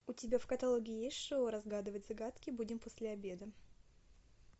у тебя в каталоге есть шоу разгадывать загадки будем после обеда